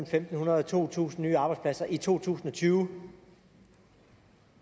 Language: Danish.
fem hundrede og to tusind nye arbejdspladser i to tusind og tyve